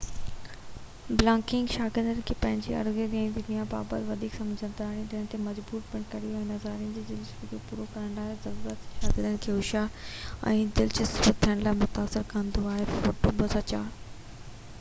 Blogging شاگردن کي پنهنجي اردگرد جي دنيا بابت وڌيڪ سمجھدار ٿيڻ تي مجبور پڻ ڪري ٿي. ناظرین جي دلچسپيءَ کي پورو ڪرڻ جي ضرورت شاگردن کي هوشيار ۽ دلچسپ ٿيڻ لاءِ متاثر ڪندي آهي ٽوٽو ، 2004